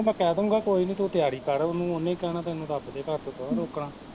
ਓਹਨੂੰ ਮੈਂ ਕਹਿਦੂਗਾ ਕੋਈ ਨੀ ਤੂੰ ਤਿਆਰੀ ਕਰ ਉਹਨੂੰ, ਉਹਨੇ ਕੀ ਕਹਿਣਾ ਤੇਨੂੰ ਰੱਬ ਦੇ ਘਰ ਤੋਂ ਥੋੜਾ ਰੋਕਣਾ